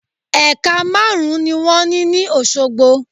Ẹ̀ka márùn ún ni wón ní ní Òsogbo